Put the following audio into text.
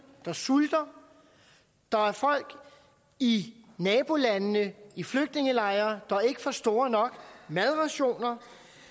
der sulter der er folk i nabolandene i flygtningelejre der ikke får store nok madrationer